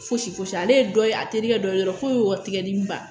Fosi foyisi ale ye dɔ ye a terikɛ dɔ ye dɔrɔn ko tigɛdimi ban